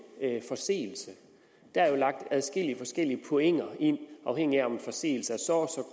forseelse der er jo lagt adskillige forskellige point ind afhængigt af om en forseelse er så